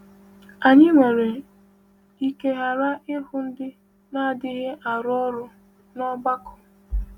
Anyị nwere ike ghara ịhụ ndị na-adịghị arụ ọrụ n’ọgbakọ.